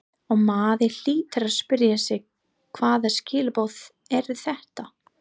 Og maður hlýtur að spyrja sig hvaða skilaboð eru þetta?